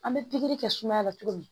An bɛ pikiri kɛ sumaya la cogo min